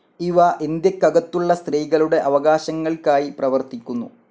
ഇവ ഇന്ത്യക്കകത്തുള്ള സ്ത്രീകളുടെ അവകാശങ്ങൾക്കായി പ്രവർത്തിക്കുന്നു.